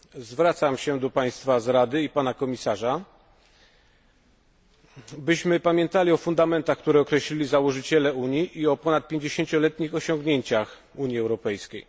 Zwracam się do państwa z Rady i pana komisarza, byśmy pamiętali o fundamentach, które określili założyciele Unii i o ponadpięćdziesięcioletnich osiągnięciach Unii Europejskiej.